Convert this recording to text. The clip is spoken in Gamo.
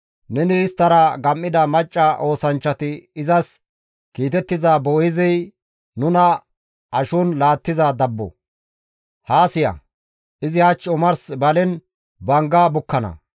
Neni isttara gam7ida macca oosanchchati izas kiitettiza Boo7eezey nuna ashon laattiza dabbo. Haa siya, izi hach omars balen bangga bukkana.